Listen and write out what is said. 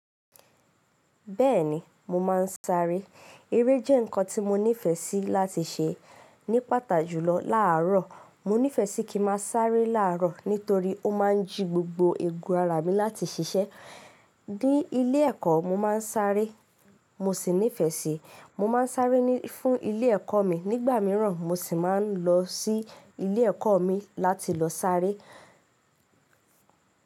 Bẹ́ẹ̀ni, mo máa ń sáré. Eré jẹ́ nǹkan tí mo nífẹ̀ẹ́ sí láti ṣe. Ní pàtà jùlọ láàárọ̀, mo nífẹ̀ẹ́ sí kí mà sáré láàárọ̀ nítorí ó máa ń jí gbogbo ègún ara mi láti ṣiṣẹ́. Ní ilé ẹ̀kọ́, mo máa ń sáré, mo sì nífẹ̀ẹ́ sí. Mo máa ń sáré fún ilé ẹ̀kọ́ mi. Nígbà mìíràn, mo sì máa ń lọ sí ilé ẹ̀kọ́ mi láti lọ sáré.